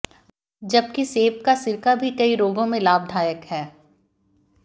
जबकि सेब का सिरका भी कई रोगों में लाभदायक है